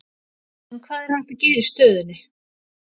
En hvað er hægt að gera í stöðunni?